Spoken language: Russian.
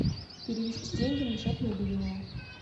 перевести деньги на счет мобильного